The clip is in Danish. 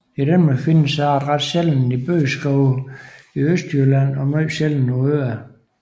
I Danmark findes arten ret sjældent i bøgeskove i Østjylland og meget sjældent på Øerne